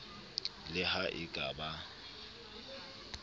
le ha e ka ba